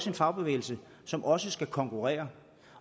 en fagbevægelse som også skal konkurrere